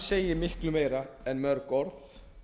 segir miklu meira en mörg orð